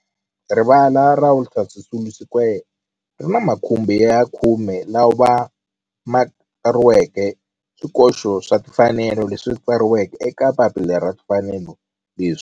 Rivala ra Walter Sisulu Square ri ni makhumbi ya khume lawa ma tsariweke swikoxo swa timfanelo leswi tsariweke eka papila ra timfanelo leswi.